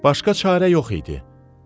Başqa çarə yox idi.